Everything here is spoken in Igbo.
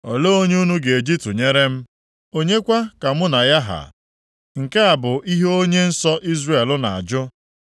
“Olee onye unu ga-eji tụnyere m? Onye kwa ka mụ na ya ha?” Nke a bụ ihe Onye Nsọ Izrel na-ajụ.